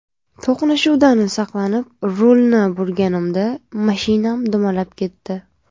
To‘qnashuvdan saqlanib, rulni burganimda mashinam dumalab ketdi.